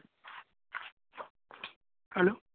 hello